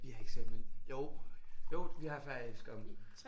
Vi har eksamener lige jo jo vi har faktisk om